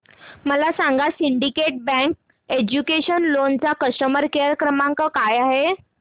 मला सांगा syndicate bank educational loan चा कस्टमर केअर क्रमांक काय आहे